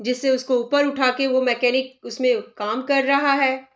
जिससे उसको ऊपर उठाके वो मैकेनिक उसमें काम कर रहा है।